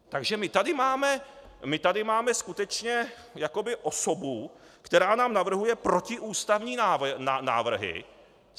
Takže my tady máme skutečně jakoby osobu, která nám navrhuje protiústavní návrhy.